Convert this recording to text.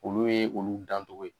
Olu ye olu dantogo ye.